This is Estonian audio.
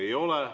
Ei oleks.